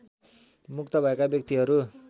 मुक्त भएका व्यक्तिहरू